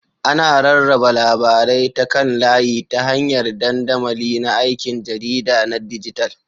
Ana rarraba labarai ta kan layi ta hanyar dandamali na aikin jarida na dijital.